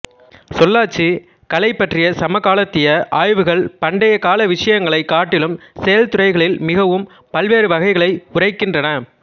சொல்லாட்சிக் கலை பற்றிய சமகாலத்திய ஆய்வுகள் பண்டைய கால விசயங்களைக் காட்டிலும் செயல்துறைகளில் மிகவும் பல்வேறு வகைகளை உரைக்கின்றன